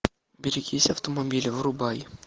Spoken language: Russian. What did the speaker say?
берегись автомобиля врубай